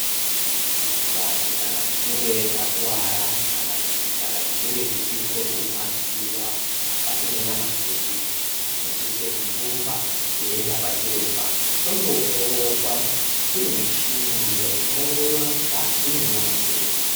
Vantu kana tichinge takuwara kana kutitichinge tichizwa kurwadziwa mukati mwenyama dzedu tinosise kurumba teyi uenda kwachiremba tono ongororwa kunemichini iriyo ino ongorora mukati mwenyama dzedu.